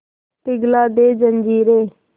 पिघला दे जंजीरें